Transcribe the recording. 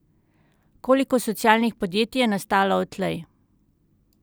Koliko socialnih podjetij je nastalo odtlej?